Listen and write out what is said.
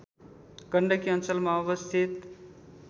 गण्डकी अञ्लमा अवस्थित